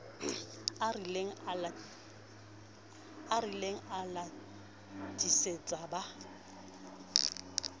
a larile a latetse ba